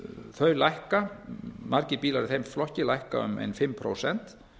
þau lækka margir bílar í þeim flokki lækka um ein fimm prósent